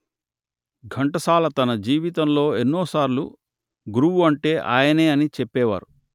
ఘంటసాల తన జీవితంలో ఎన్నో సార్లు గురువు అంటే ఆయనే అని చెప్పేవారు